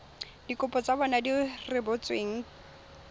dikopo tsa bona di rebotsweng